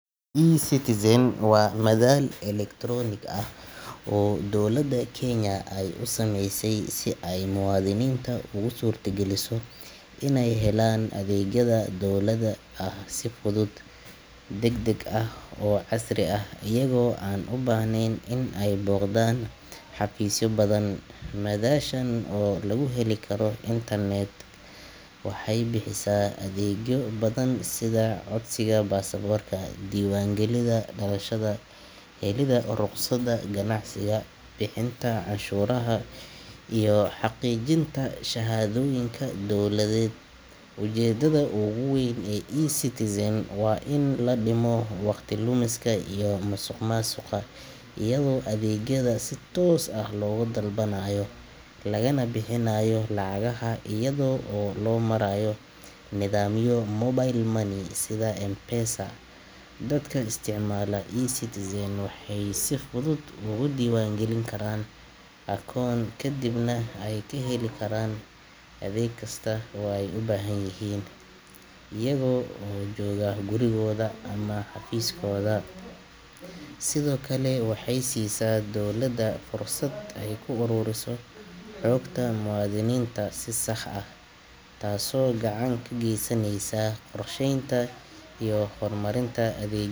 eCitizen waa madal elektaroonig ah oo dowladda Kenya ay u sameysay si ay muwaadiniinta ugu suurtageliso inay helaan adeegyada dowliga ah si fudud, degdeg ah oo casri ah iyaga oo aan u baahnayn in ay booqdaan xafiisyo badan. Madashan oo laga heli karo internet-ka waxay bixisaa adeegyo badan sida codsiga baasaboorka, diiwaangelinta dhalashada, helidda rukhsadda ganacsiga, bixinta canshuuraha, iyo xaqiijinta shahaadooyin dowladeed. Ujeeddada ugu weyn ee eCitizen waa in la dhimo waqti lumiska iyo musuqmaasuqa iyadoo adeegyada si toos ah looga dalbanayo, lagana bixinayo lacagaha iyada oo loo marayo nidaamyo mobile money sida M-Pesa. Dadka isticmaala eCitizen waxay si fudud uga diiwaangelin karaan akoon, kadibna ay ka heli karaan adeeg kasta oo ay u baahan yihiin iyaga oo jooga gurigooda ama xafiiskooda. Sidoo kale, waxay siisaa dowladda fursad ay ku ururiso xogta muwaadiniinta si sax ah, taasoo gacan ka geysaneysa qorsheynta iyo horumarinta adeeg.